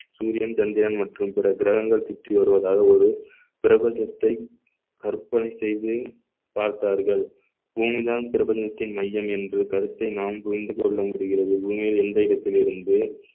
சூரியன் சந்திரன் மற்றும் பிற கிரகங்கள் சுற்றி வருவதாக ஒரு பிரபஞ்சத்தை கற்பனை செய்து பார்த்தார்கள் பூமிதான் பிரபஞ்சத்தின் மையம் என்று கருத்தை நாம் புரிந்து கொள்ள முடிகிறது பூமியில் எந்த இடத்திலிருந்து